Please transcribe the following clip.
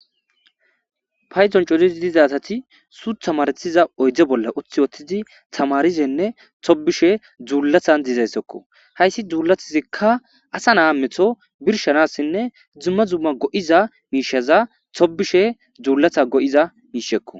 Payton coridis diza asati suuth hamartiza oydde bolla uthi wottidi tamarizenne tobishe dzuullathan dizayssokko hayssi dzuulatizikka asa naa metho birshanassinne dzumma zumma go7iza miishaza tobishe dzuullatha go7iza miishekko.